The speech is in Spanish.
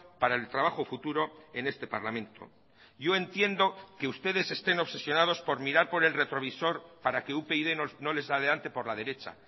para el trabajo futuro en este parlamento yo entiendo que ustedes estén obsesionados por mirar por el retrovisor para que upyd no les adelante por la derecha